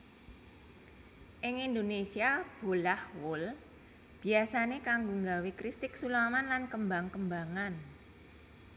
Ing Indonésia bolah wol biyasané kanggo nggawé kristik sulaman lan kembang kembangan